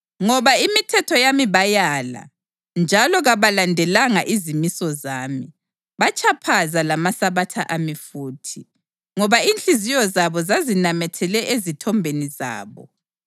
ngoba imithetho yami bayala njalo kabalandelanga izimiso zami, batshaphaza lamaSabatha ami futhi. Ngoba inhliziyo zabo zazinamathele ezithombeni zabo.